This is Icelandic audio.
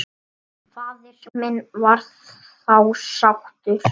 Faðir minn var þá sóttur.